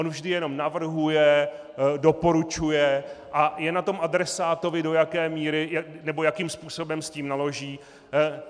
On vždy jenom navrhuje, doporučuje a je na tom adresátovi, do jaké míry nebo jakým způsobem s tím naloží.